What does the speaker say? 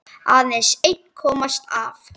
Aðeins einn komst af.